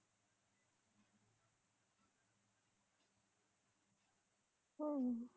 मित्रांनो आपण आता या विषयावरती बोलणार आहोत.माझं गाव